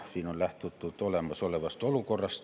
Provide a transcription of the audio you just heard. Siin on lähtutud olemasolevast olukorrast.